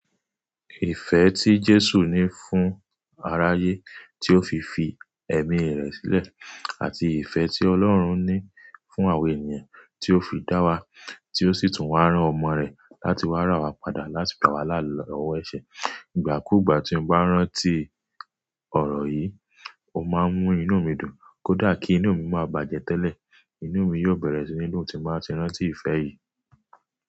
Ìfẹ́ tí Jésù ní fún aráyé tí ó fi fi ẹ̀mí rẹ̀ sílẹ̀, àti ìfẹ́ tí Ọlọ́run ní fún àwọn ènìyàn tí ó fi dá wa, tí ó sì tún wá rán ọmọ rẹ̀ láti wá rà wa padà láti ìbáwalá ọwọ́ ẹṣẹ. Ìgbà kú ìgbà tí mo bá ń rántí ọ̀rọ̀ yìí, mo máa ń mú inú mi dùn. Kódà kí inú mi má bàjẹ́ tẹ́lẹ̀, inú mi yóò bẹ̀rẹ̀ sí inú tí máa ti ń rántí ìfẹ́ yìí.